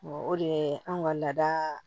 o de ye anw ka laada